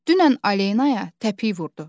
Dünən Alenaya təpik vurdu.